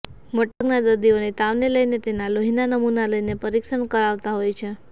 મોટા ભાગના દર્દીઓને તાવને લઈને તેના લોહીના નમુના લઈને પરીક્ષણ કરાવાતા હોય છે